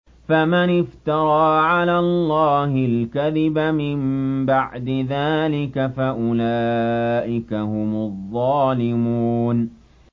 فَمَنِ افْتَرَىٰ عَلَى اللَّهِ الْكَذِبَ مِن بَعْدِ ذَٰلِكَ فَأُولَٰئِكَ هُمُ الظَّالِمُونَ